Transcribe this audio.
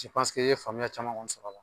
i ye faaya caman sɔrɔ a la.